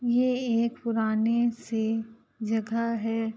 ये एक पुराने पुरानी-सी जगह है।